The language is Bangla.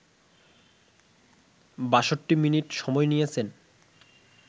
৬২ মিনিট সময় নিয়েছেন